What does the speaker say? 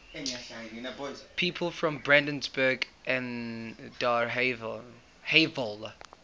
people from brandenburg an der havel